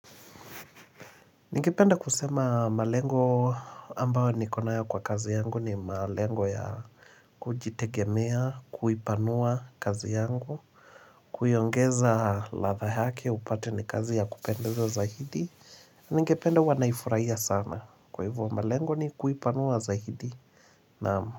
Ningependa kusema malengo ambayo niko nayo kwa kazi yangu ni malengo ya kujitegemea, kuipanua kazi yangu, kuiongeza ladha yake upate ni kazi ya kupendeza zaidi. Ningependa huwa naifurahia sana. Kwa hivyo malengo ni kuipanua zaidi naam.